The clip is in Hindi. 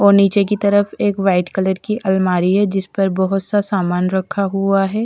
और नीचे की तरफ एक वाइट कलर की अलमारी है जिस पर बहुत सा सामान रखा हुआ है।